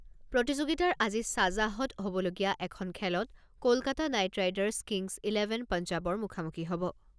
প্ৰতিযোগিতাৰ আজি শ্বাজাহত হ'বলগীয়া এখন খেলত Kolkata knight riders kings eleven পঞ্জাৱৰ মুখামুখি হ'ব।